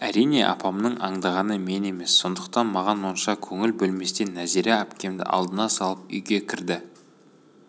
әрине апамның аңдығаны мен емес сондықтан маған онша көңіл бөлместен нәзира әпкемді алдына салып үйге кірді